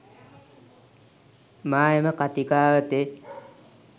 මා එම කතිකාවතේ